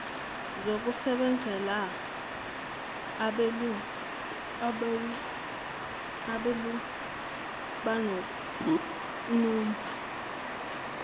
zokusebenzela abelungu nokumba